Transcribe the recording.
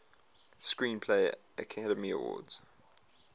screenplay academy award